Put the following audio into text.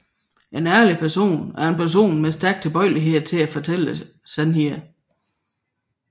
En ærlig person er en person med en stærk tilbøjelighed til at fortælle sandheden